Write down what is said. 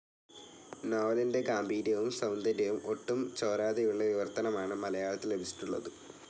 നോവലിന്റെ ഗാംഭീര്യവും സൗന്ദര്യവും ഒട്ടും ചോരാതെയുള്ള വിവർത്തനമാണ് മലയാളത്തിൽ ലഭിച്ചിട്ടുള്ളത്.